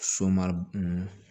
Somaru